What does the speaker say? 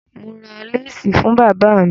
Mo ra láásì fún bàba mi.